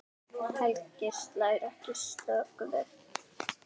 Helgi slær ekki slöku við.